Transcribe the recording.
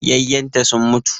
Yayyenta sun mutu